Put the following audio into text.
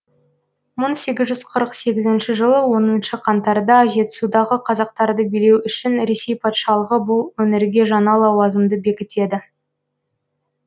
мың сегіз жүз қырық сегізінші жылы оныншы қаңтарда жетісудағы қазақтарды билеу үшін ресей патшалығы бұл өңірге жаңа лауазымды бекітеді